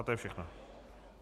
A to je všechno?